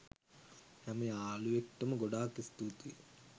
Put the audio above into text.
හැම යාලුවෙක්ට ම ගොඩක් ස්තුතියි